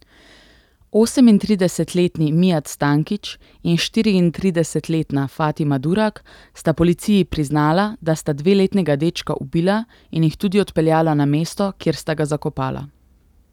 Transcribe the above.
Osemintridesetletni Mijat Stankić in štiriintridesetletna Fatima Durak sta policiji priznala, da sta dveletnega dečka ubila, in jih tudi odpeljala na mesto, kjer sta ga zakopala.